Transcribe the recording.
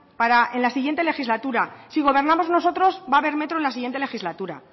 para la siguiente legislatura si gobernamos nosotros va a ver metro en la siguiente legislatura